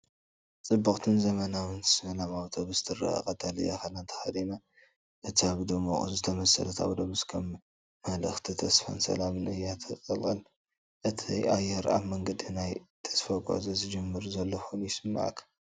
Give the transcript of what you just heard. ጽብቕትን ዘመናውን “ሰላም ኣውቶቡስ” ትረአ፣ ቀጠልያ ክዳን ተኸዲና ኣላ። እታ ብድሙቕ ዝተሰለመት ኣውቶቡስ ከም መልእኽቲ ተስፋን ሰላምን እያ ትቕልቀል፤ እቲ ኣየር ኣብ መንገዲ ናይ ተስፋ ጉዕዞ ዝጅምር ዘሎ ኮይኑ ይስምዓካ።